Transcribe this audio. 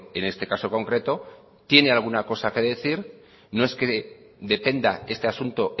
en este caso concreto tiene alguna cosa que decir no es que dependa este asunto